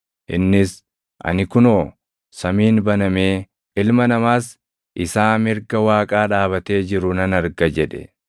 Innis, “Ani kunoo samiin banamee, Ilma Namaas isaa mirga Waaqaa dhaabatee jiru nan arga” jedhe.